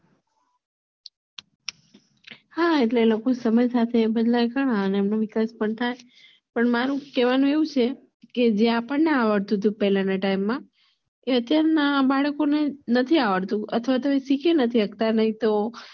હા એટલે કે જે આપણને આવડતું હતું પેલાના time માં એ અત્યાર ના બાળકોને નથી આવડતું અથવાતો એ સીખી નથી સકતા નહિ તો